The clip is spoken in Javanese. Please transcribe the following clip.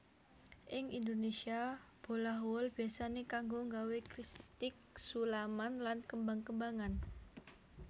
Ing Indonésia bolah wol biyasané kanggo nggawé kristik sulaman lan kembang kembangan